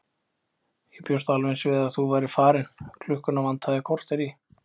Ég bjóst alveg eins við að þú værir farin, klukkuna vantar korter í.